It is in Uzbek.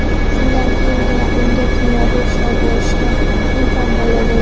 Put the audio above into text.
Shundan keyingina unga kimyoviy ishlov berishga imkon paydo bo‘ldi.